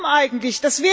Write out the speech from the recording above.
Warum eigentlich?